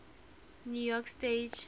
new york stage